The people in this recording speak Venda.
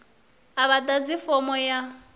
a vha ḓadzi fomo ya